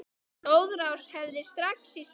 Blóðrás heftir strax í stað.